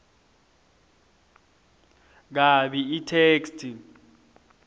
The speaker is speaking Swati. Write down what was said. kabi itheksthi